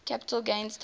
capital gains tax